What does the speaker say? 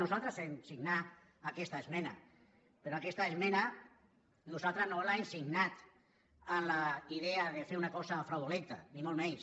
nosaltres vam signar aquesta esmena però aquesta esmena nosaltres no l’hem signat amb la idea de fer una cosa fraudulenta ni molt menys